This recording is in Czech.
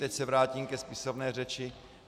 Teď se vrátím ke spisovné řeči.